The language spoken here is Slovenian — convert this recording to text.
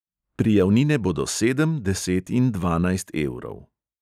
Prijavnine bodo sedem, deset in dvanajst evrov.